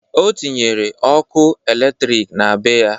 O tinyere okụ elektrik na be ya.